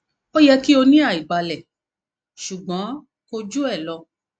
o yẹ ki o ni aibalẹ ṣugbọn ko ju elo